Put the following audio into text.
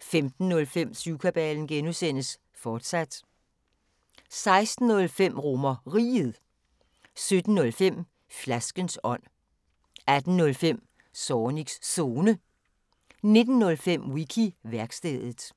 15:05: Syvkabalen (G), fortsat 16:05: RomerRiget 17:05: Flaskens ånd 18:05: Zornigs Zone 19:05: Wiki-værkstedet